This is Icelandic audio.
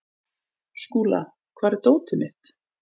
Skúla, hvar er dótið mitt?